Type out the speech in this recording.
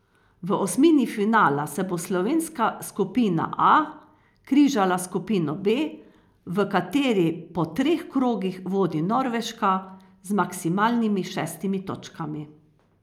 V osmini finala se bo slovenska skupina A križala s skupino B, v kateri po treh krogih vodi Norveška z maksimalnimi šestimi točkami.